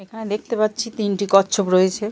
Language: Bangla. এখানে দেখতে পাচ্ছি তিনটে কচ্ছপ রয়েছে।